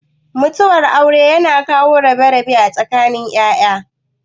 Mutuwar aure yana kawo rabe-rabe a tsakanin ya'ya.